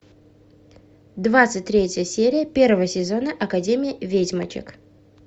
двадцать третья серия первого сезона академия ведьмочек